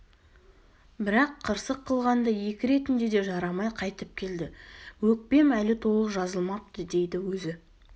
бірақ қырсық қылғанда екі ретінде де жарамай қайтып келді өкпем әлі толық жазылмапты дейді өзі